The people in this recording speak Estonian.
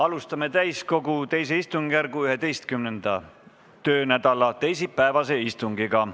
Alustame täiskogu teise istungjärgu 11. töönädala teisipäevast istungit.